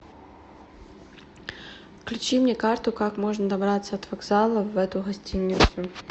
включи мне карту как можно добраться от вокзала в эту гостиницу